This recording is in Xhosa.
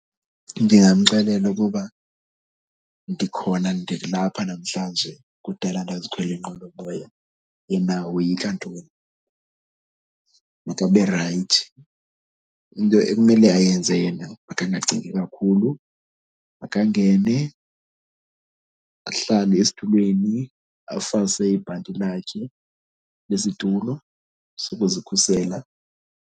Ndingamxelela ukuba ndikhona, ndilapha namhlanje kudala ndazikhwela iinqwelomoya. Yena woyika ntoni? Makabe rayithi. Into ekumele ayenze yena makangacingi kakhulu makangene ahlale esitulweni afase ibhanti lakhe lesitulo sokuzikhusela.